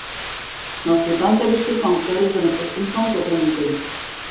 Nokkrir bandarískir fangar í röndóttum fangabúningum.